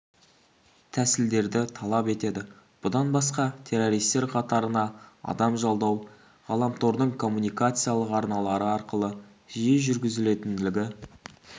тәсілдерді талап етеді бұдан басқа террористер қатарына адам жалдау ғаламтордың коммуникациялық арналары арқылы жиі жүргізілетіндігі